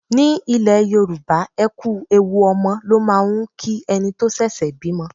Ní ilẹ̀ Yorùbá, ẹ kú ewu ọmọ ló máà ń kí ẹni tó ṣẹ̀ṣẹ̀ bímọ.